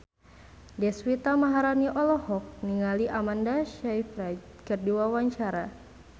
Deswita Maharani olohok ningali Amanda Sayfried keur diwawancara